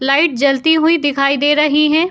Light जलती हुई दिखाई दे रही है।